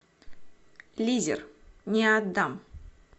лизер не отдам